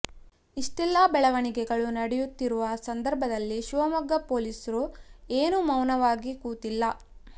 ಇಷ್ಟೆಲ್ಲಾ ಬೆಳವಣಿಗೆಗಳು ನಡೆಯುತ್ತಿರುವ ಸಂದರ್ಭದಲ್ಲಿ ಶಿವಮೊಗ್ಗ ಪೊಲೀಸ್ರು ಏನೂ ಮೌನವಾಗಿ ಕೂತಿಲ್ಲ